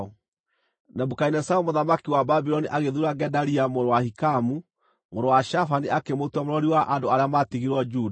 Nebukadinezaru mũthamaki wa Babuloni agĩthuura Gedalia mũrũ wa Ahikamu, mũrũ wa Shafani akĩmũtua mũrori wa andũ arĩa maatigirwo Juda.